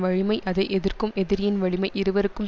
வலிமை அதை எதிர்க்கும் எதிரியின் வலிமை இருவர்க்கும்